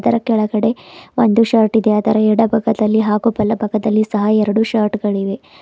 ಇದರ ಕೆಳಗಡೆ ಒಂದು ಶರ್ಟ್ ಇದೆ ಅದರ ಎಡಭಗದಲ್ಲಿ ಹಾಗು ಬಲಭಗದಲ್ಲಿ ಸಹ ಎರಡು ಶರ್ಟ್ ಗಳಿವೆ.